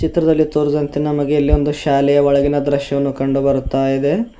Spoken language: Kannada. ಚಿತ್ರದಲ್ಲಿ ತೋರಿದಂತೆ ನಮಗೆ ಇಲ್ಲಿ ಒಂದು ಶಾಲೆಯ ಒಳಗಿನ ದೃಶ್ಯವನ್ನು ಕಂಡುಬರುತ್ತದೆ.